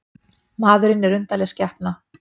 Maðurinn er undarleg skepna.